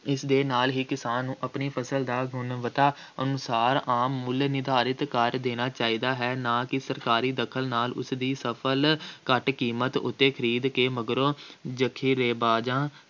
ਇਸ ਦੇ ਨਾਲ ਹੀ ਕਿਸਾਨ ਨੂੰ ਆਪਣੀ ਫ਼ਸਲ ਦਾ ਗੁਣਵੱਤਾ ਅਨੁਸਾਰ ਆਮ ਮੁੱਲ ਨਿਰਧਾਰਿਤ ਕਰ ਦੇਣਾ ਚਾਹੀਦਾ ਹੈ। ਨਾ ਕਿ ਸਰਕਾਰੀ ਦਖਲ ਨਾਲ ਉਸਦੀ ਫਸਲ ਘੱਟ ਕੀਮਤ ਉੱਤੇ ਖਰੀਦ ਕੇ ਮਗਰੋਂ ਜਖੀਰੇਬਾਜ਼ਾਂ